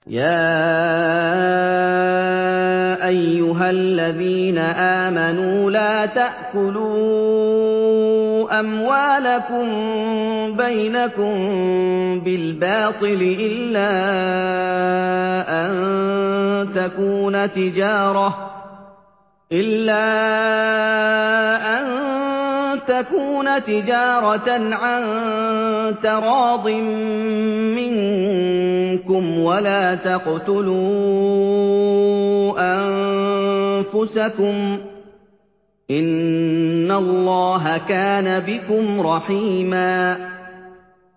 يَا أَيُّهَا الَّذِينَ آمَنُوا لَا تَأْكُلُوا أَمْوَالَكُم بَيْنَكُم بِالْبَاطِلِ إِلَّا أَن تَكُونَ تِجَارَةً عَن تَرَاضٍ مِّنكُمْ ۚ وَلَا تَقْتُلُوا أَنفُسَكُمْ ۚ إِنَّ اللَّهَ كَانَ بِكُمْ رَحِيمًا